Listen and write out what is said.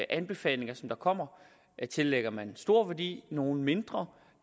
og anbefalinger der kommer tillægger man stor værdi og nogle mindre